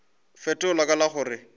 fetola ka la go re